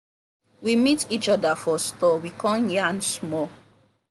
we meet each other for store we come yarn small.